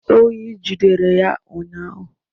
Oyi jidere ya ụnyahụ